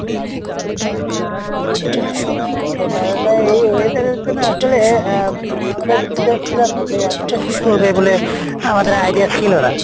আহ আচ্ছা তাহলে এই weather এর জন্য আসলে আহ উম আমাদের prepare ছিলাম না, যে এতটা শীত পরবে বলে আমাদের idea ছিল না।